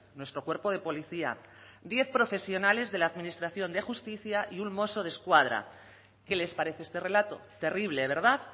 nuestro cuerpo de policía diez profesionales de la administración de justicia y un mosso desquadra qué les parece este relato terrible verdad